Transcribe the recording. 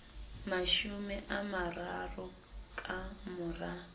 mashome a mararo ka mora